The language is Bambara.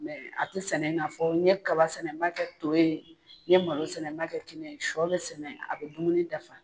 a te sɛnɛ i n'a fɔ n ye kaba sɛnɛ n b'a kɛ to ye, n ye malo sɛnɛ n b'a kɛ kini ye, sɔ bɛ sɛnɛ a bɛ dumuni dafa.